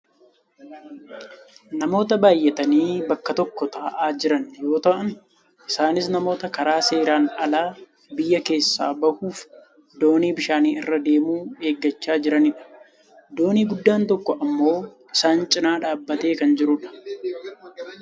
Namoota baayyatanii bakka tokko taa'aa jiran yoo ta'an isaanis namoota karaa seeraan alaa biyyaa keessaa bahuuf doonii bishaanii irra deemu eeggachaa jiranidha. Doonii guddaan tokko ammoo isaan cinaa dhaabbatee kan jirudha.